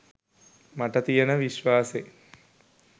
මට තියෙන විශ්වාසේ